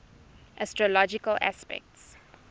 astrological aspects